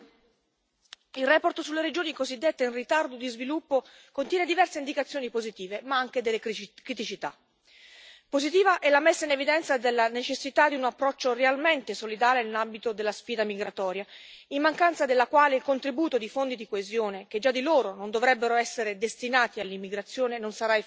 Signora Presidente, onorevoli colleghi, la relazione sulle regioni cosiddette in ritardo di sviluppo contiene diverse indicazioni positive, ma anche alcune criticità. Positiva è la messa in evidenza della necessità di un approccio realmente solidale nell'ambito della sfida migratoria, in mancanza della quale il contributo di fondi di coesione, che già di per sé non dovrebbero essere destinati all'immigrazione, non sarà efficace.